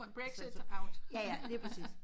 Brexit out ha ha ha